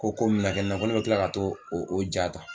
Ko ko mi mina kɛ ne na, ko ni bi kila ka t'o o ja tan